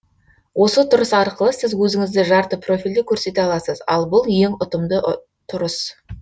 осы тұрыс арқылы сіз өзіңізді жарты профильде көрсете аласыз ал бұл ең ұтымды тұрыс